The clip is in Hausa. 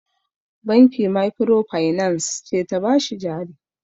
Banki makirofainans ce ta ba shi jari.